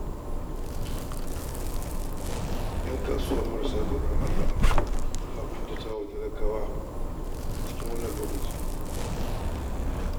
Yan kasuwa marasa tsoron Allah suna ƙuntata wa talakawa a wannan lokaci